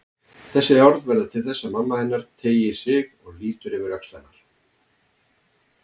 Þessi orð verða til þess að mamma hennar teygir sig og lítur yfir öxl hennar.